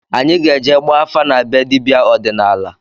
Anyị ga-eje gbaa afa na be dibịa ọdịnala